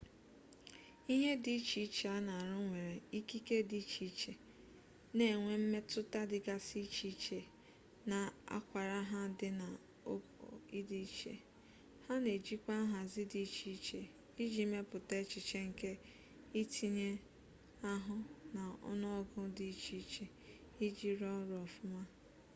ihe dị iche iche a na-arụ nwere ikike dị iche iche na-enwe mmetụta dịgasị iche iche na akwara ha di na ogo di iche ha na-ejikwa nhazi dị iche iche iji mepụta echiche nke ntinye ahụ na ọnụọgụ dị iche iche iji rụọ ọrụ ọfụma